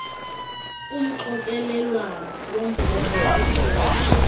umxokelelwano wombhobho okhupha